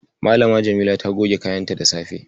Malam Jamila ta goge kayanta da safe.